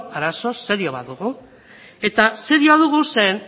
arazo serio bat dugu eta serioa dugu zeren